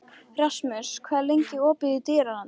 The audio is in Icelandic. Rasmus, hvað er lengi opið í Dýralandi?